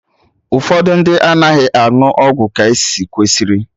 Ụfọdụ ndị anaghị aṅụ ọgwụ ka e kwesịrị